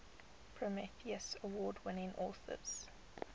prometheus award winning authors